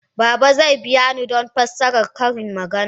Baba zai biya ni don fassarar ƙarin magana.